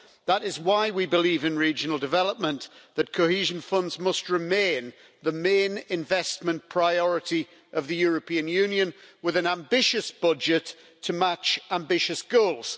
That is why we believe in Regional Development that cohesion funds must remain the main investment priority of the European Union with an ambitious budget to match ambitious goals.